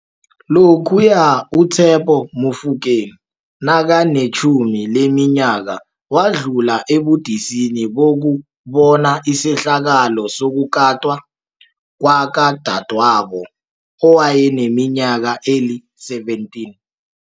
Lokhuya uTshepo Mofokeng nakanetjhumi leminyaka, wadlula ebudisini bokubona isehlakalo sokukatwa kwakadadwabo owayeneminyaka eli-17.